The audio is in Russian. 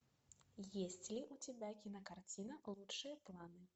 есть ли у тебя кинокартина лучшие планы